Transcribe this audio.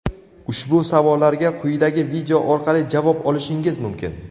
Ushbu savollarga quyidagi video orqali javob olishingiz mumkin?.